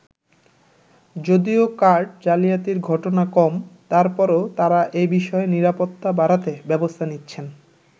যদিও কার্ড জালিয়াতির ঘটনা কম, তারপরও তারা এ বিষয়ে নিরাপত্তা বাড়াতে ব্যবস্থা নিচ্ছেন।